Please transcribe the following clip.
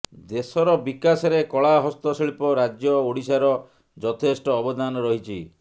ଦେଶର ବିକାଶରେ କଳା ହସ୍ତଶିଳ୍ପ ରାଜ୍ୟ ଓଡିଶାର ଯଥେଷ୍ଟ ଅବଦାନ ରହିଛି